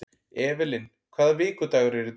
Evelyn, hvaða vikudagur er í dag?